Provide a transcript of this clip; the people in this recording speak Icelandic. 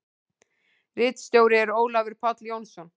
Ritstjóri er Ólafur Páll Jónsson.